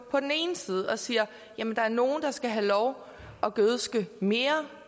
ene side og siger jamen der er nogle der skal have lov at gødske mere